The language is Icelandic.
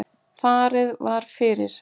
Farið var fyrir